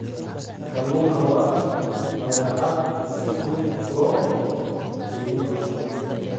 Kalluunku waa badeecad si fudud loo kaydin karo.